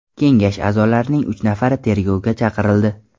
Kengash a’zolarining uch nafari tergovga chaqirildi.